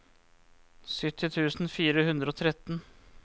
sytti tusen fire hundre og tretten